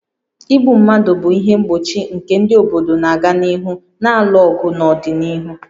Igbu mmadụ bụ ihe mgbochi nke ndị obodo na-aga n'ihu na-alụ ọgụ n'ọdịnihu